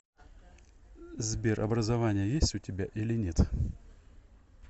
сбер образование есть у тебя или нет